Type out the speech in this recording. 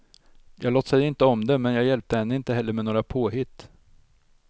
Jag låtsade inte om det, men jag hjälpte henne inte heller med några påhitt.